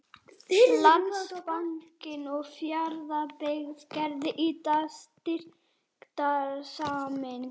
Landsbankinn og Fjarðabyggð gerðu í dag styrktarsamning.